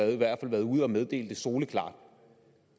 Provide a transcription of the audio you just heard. i hvert fald været ude at meddele det soleklart